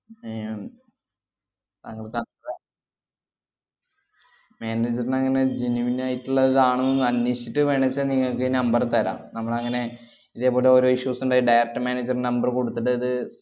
ഏർ ഉം താങ്കള് താന്~ താ~ manager ന് അങ്ങനെ genuine ആയിട്ടിള്ളതാണെന്ന് അന്വേഷിച്ചിട്ട് വേണേച്ചാ നിങ്ങക്ക് number തരാം. നമ്മളങ്ങനെ ഇതേപോലെ ഓരോ issues ഇണ്ടായി direct manager ന് number കൊടുത്തിട്ടത്